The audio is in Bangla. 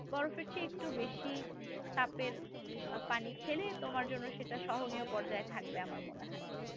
বরফের চেয়ে একটু বেশি তাপের পানি খেলে তোমার জন্য সেটা সহনীয় পর্যায়ে থাকবে আমার মনে হয়